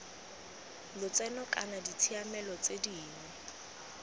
lotseno kana ditshiamelo tse dingwe